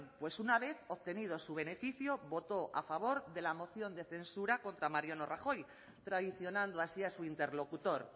pues una vez obtenido su beneficio votó a favor de la moción de censura contra mariano rajoy traicionando así a su interlocutor